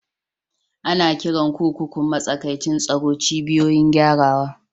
Ana kiran kurkukun matsakaicin tsaro "cibiyoyin gyarawa".